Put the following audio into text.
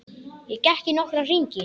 Ég gekk í nokkra hringi.